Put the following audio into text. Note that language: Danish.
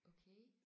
Okay